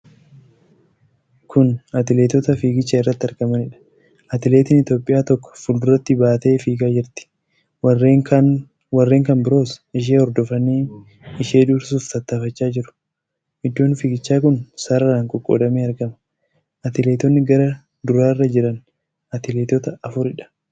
Kun atileetota fiigicha irratti argamanidha. Atileetiin Itoophiyaa tokko fulduratti baatee fiigaa jirti. Warreen kan biroos ishee hordofanii ishee dursuuf tattaafachaa jiru. Iddoon fiigichaa kun sararaan qoqqoodamee argama. atileetonni gara duraarra jiran atileetota afuridha.